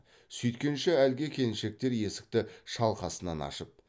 сүйткенше әлгі келіншектер есікті шалқасынан ашып